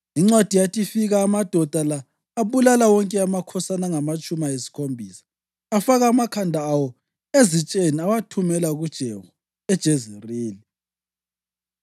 Incwadi yathi ifika, amadoda la abulala wonke amakhosana angamatshumi ayisikhombisa. Afaka amakhanda awo ezitsheni awathumela kuJehu eJezerili.